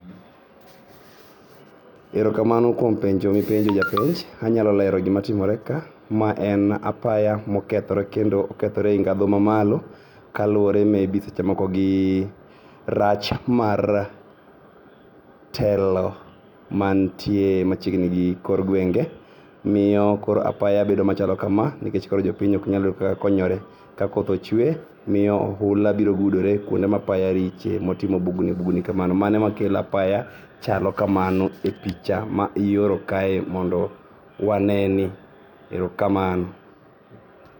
Erokamano kuom penjo mipenjo japenj, anyalolero gima timore ka. Ma en apaya mokethore kendo okethore ei ngadho mamalo kalure maybe sechemoko gi rach mar telo mantie machiegni gi kor guenge. Miyo koro apaya bedo machalo kama nikech koro jopiny oknyal yudo kaka konyore kakoth ochue miyo ohula biro gudore kuonde mapaya riche motimo bugni bugni kamano mano makelo apaya chalo kamano e picha maioro kae mondo waneni. Erokamano.